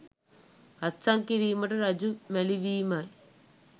අත්සන් කිරීමට රජු මැළිවීමයි.